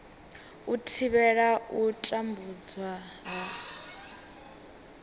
u thivhela u tambudzwa ha